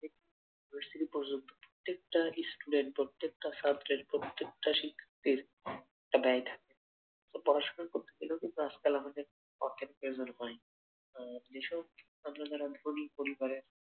Three পর্যন্ত প্রত্যেকটা student প্রত্যেকটা সাবজেক্ট প্রত্যেকটা শিক্ষকের একটা দায় থাকে পড়াশোনা করতে গেলেও কিন্তু আজকাল আমাদের অর্থের প্রয়োজন হয়. যেসব আমরা যারা ধনী পরিবারের